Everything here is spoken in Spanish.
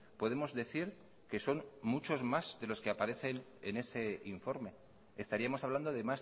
podemos decir que son muchos más de los que aparecen en ese informe estaríamos hablando de